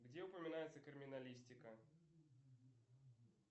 где упоминается криминалистика